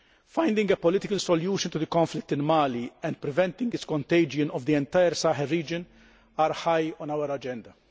Finding a political solution to the conflict in Mali and preventing the contagion of the entire Sahel region are high on our agenda.